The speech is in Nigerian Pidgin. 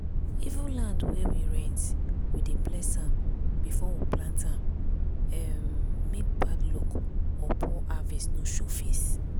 even land wey we rent we dey bless am before we plant um make bad luck or or poor harvest no show face.